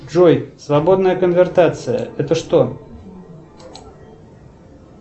джой свободная конвертация это что